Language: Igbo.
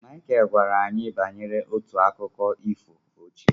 Michael gwara anyị banyere otu akụkọ ifo ochie.